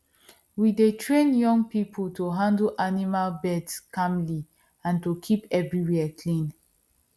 we dey train young people to handle animal birth calmly and keep everywhere clean